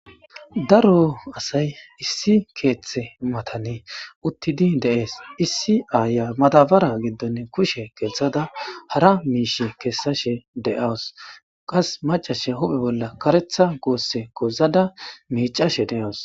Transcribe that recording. daro asay issi keeththe matane uttidi deees issi aaya madabara giddonne kushe gelthada hara miish kessashe deawus qas macashe huphe bolla karetha goosse gozada miicashe de7awus